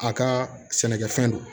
A ka sɛnɛkɛfɛn don